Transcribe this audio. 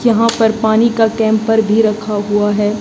यहां पर पानी का कैंपर भी रखा हुआ है।